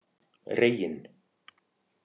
Reginn